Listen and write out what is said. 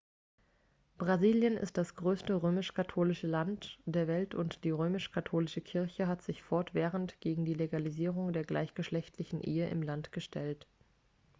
brasilien ist das größte römisch-katholische land der welt und die römisch-katholische kirche hat sich fortwährend gegen die legalisierung der gleichgeschlechtlichen ehe im land gestellt